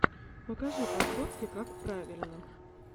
покажи подборки какправильно